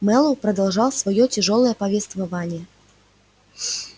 мэллоу продолжал своё тяжёлое повествование